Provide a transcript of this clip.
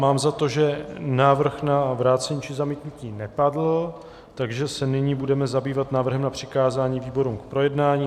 Mám za to, že návrh na vrácení či zamítnutí nepadl, takže se nyní budeme zabývat návrhem na přikázání výborům k projednání.